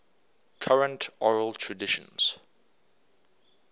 current oral traditions